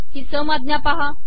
ही सम आजा पहा